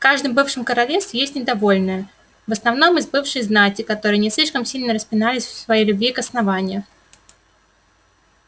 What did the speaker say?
в каждом бывшем королевстве есть недовольные в основном из бывшей знати которые не слишком сильно распинались в своей любви к основанию